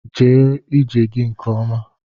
Gaa ije gị nke ọma!